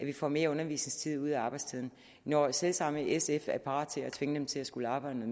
de får mere undervisningstid ud af arbejdstiden når selv samme sf er parat til at tvinge dem til at skulle arbejde